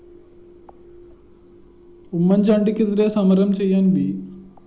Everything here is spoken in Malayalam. ഉമ്മന്‍ചാണ്ടിക്കെതിരേ സമരം ചെയ്യാന്‍ വി